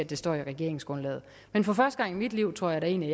det står i regeringsgrundlaget men for første gang i mit liv tror jeg da egentlig